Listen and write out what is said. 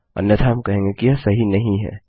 अन्यथा हम कहेंगे कि यह सही नहीं है